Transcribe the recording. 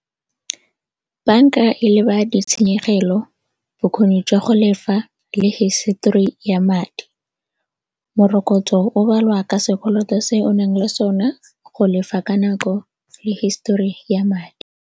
Banka e leba ditshenyegelo, bokgoni jwa go lefa le hisetori ya madi. Morokotso o balwa ka sekoloto se o naleng sone go lefa ka nako le hisetori ya madi.